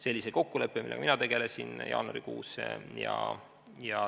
See oli see kokkuleppe, millega mina tegelesin jaanuarikuus.